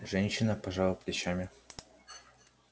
женщина пожала плечами